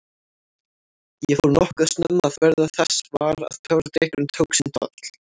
Ég fór nokkuð snemma að verða þess var að töfradrykkurinn tók sinn toll.